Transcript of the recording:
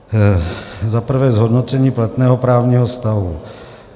Za prvé zhodnocení platného právního stavu.